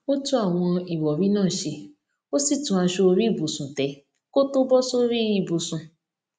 ó tún àwọn ìròrí náà ṣe ó sì tún aṣọ orí ìbùsùn tẹ kó tó bọ sórí ibùsùn